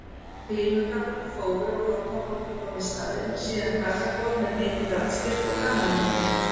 Glímukapparnir fóru og hornaflokkur kom í staðinn, síðan karlakór með mikinn raddstyrk og gamanleikari.